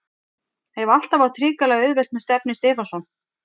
Hef alltaf átt hrikalega auðvelt með Stefni Stefánsson.